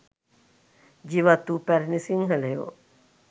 ජීවත් වූ පැරැණි සිංහලයෝ